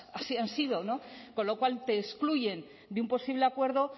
así han sido no con lo cual te excluyen de un posible acuerdo